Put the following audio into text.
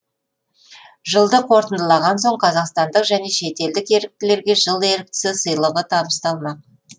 жылды қорытындылаған соң қазақстандық және шетелдік еріктілерге жыл еріктісі сыйлығы табысталмақ